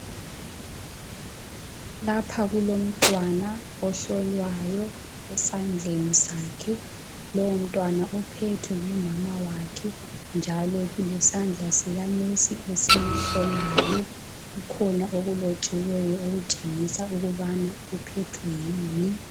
Lapha kulomntwana ohlolwayo esandleni sakhe lowo mntwana uphethwe ngumama wakhe njalo lesandla sikanesi esihlolayo. Kukhona okulotshiwe okutshengisa ukubana uphethwe yini.